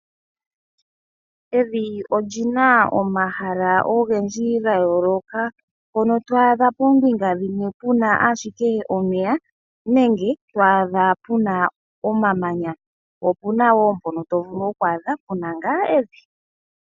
Evi olyina omahala ogendji ga yooloka mpono to adha poombinga pamwe puna ashike omeya, nenge to adha puna omamanya. Opuna wo mpoka to vulu oku adha puna ngaa evi.